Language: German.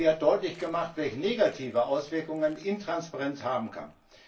Sie hat deutlich gemacht, welch negative Auswirkungen Intransparenz haben kann.